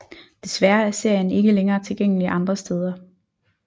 Desværre er serien ikke længere tilgængelig andre steder